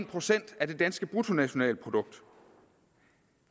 procent af det danske bruttonationalprodukt